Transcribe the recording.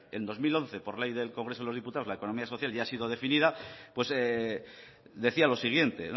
en dos mil once por ley del congreso de los diputados la economía social ya ha sido definida pues decía lo siguiente